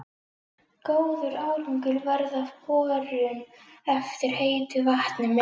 Góður árangur varð af borun eftir heitu vatni með